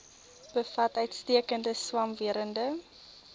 bevat uitstekende swamwerende